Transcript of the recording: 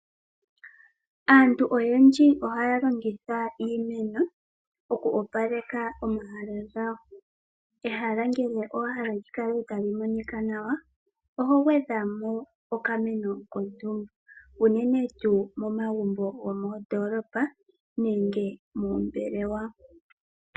Aantu oyendji ohaya longitha iimeno okuopaleka omahala gawo. Ehala ngele owa hala li kale tali monika nawa oho gwedha mo okameno kontumba, unene tuu momagumbo gomondoolopa nenge mombelewa.